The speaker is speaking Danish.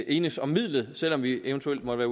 enes om midlet selv om vi eventuelt måtte